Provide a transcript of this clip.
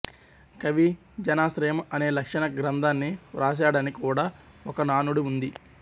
కవి జనాశ్రయం అనే లక్షణ గ్రంథాన్ని వ్రాశాడని కూడా ఒక నానుడి ఉంది